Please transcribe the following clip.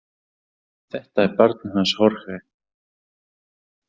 Þetta er barnið hans Jorge.